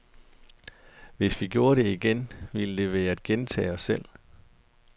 Hvis vi gjorde det igen, ville det være at gentage os selv.